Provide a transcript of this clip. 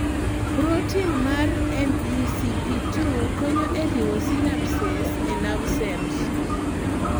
protein mar MECP2 konyo e riwo synapses e nerve cells